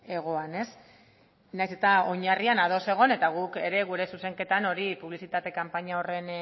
egoan nahiz eta oinarrian ados egon eta guk ere gure zuzenketan publizitate kanpaina horren